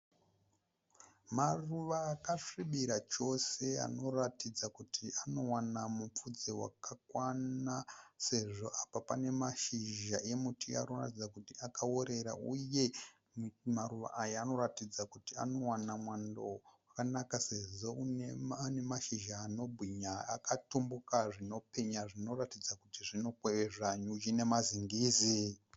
Maruva akasvibira chose anoratidza kuti anowana mupfudze wakakwana sezvo apa pane mazhizha emuti anoratidza kuti akaorera. Uye maruva aya anoratidza kuti anowana mwando wakanaka sezvo aine mashizha anobwinya akatumbuka zvinopenya zvinoratidza kuti zvinokwezva nyuchi nemazingizi.